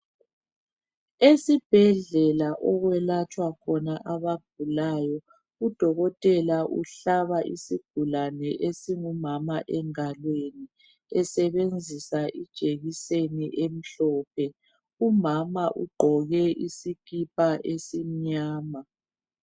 Esibhedlela okwelatshwa khona abagulayo, uDokotela uhlaba isigulane esingumama engalweni esebenzisa ijekiseni emhlophe. Umama ugqoke isikipa esimnyama.